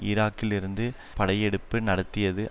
ஈராக்கிலிருந்து விரட்டப்பட்டுவிடும் படையெடுப்பு நடத்தியது